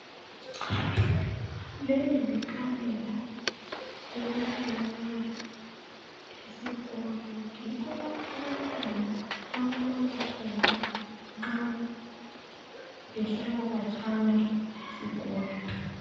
Leli likamela elitholakala esikolo , yikho lapha abantwana abalala khona nxa behlala katshana lesikolo.